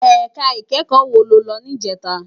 Èká ikèékò wó ló lò nijètá?